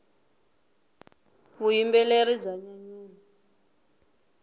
vuyimbeleri bya nyanyula